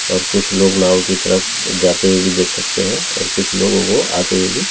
और कुछ लोग नाव की तरफ जाते हुए भी देख सकते हैं और कुछ लोगों को आते हुए भी--